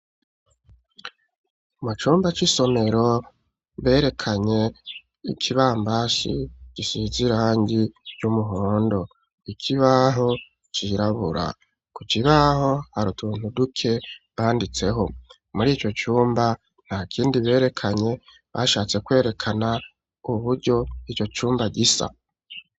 Mu cumba c'isomero berekanye ikibambazii gisize irangi y'umuhondo, ikibaho cirabura, ku kibaho har'utuntu duke banditseho muri ico cumba ntakindi berekanye, bashatse kwerekana uburyo ico cumba gisa.